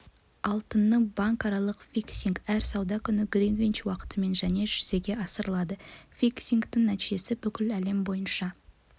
алтынның банкаралық фиксингі әр сауда күні гринвич уақытымен және жүзеге асырылады фиксингтің нәтижесі бүкіл әлем бойынша